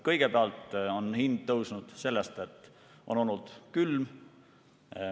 Kõigepealt on hind tõusnud sellepärast, et on olnud külm.